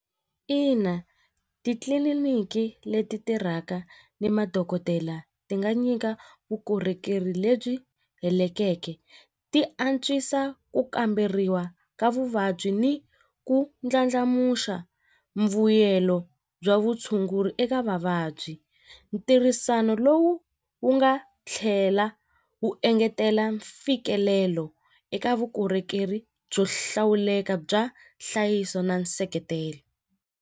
Ina titliliniki leti tirhaka ni madokodela ti nga nyika vukorhokeri lebyi ti antswisa ku kamberiwa ka vuvabyi ni ku ndlandlamuxa mbuyelo bya vutshunguri eka vavabyi ntirhisano lowu wu nga tlhela wu engetela mfikelelo eka vukorhokeri byo hlawuleka bya nhlayiso na nseketelo.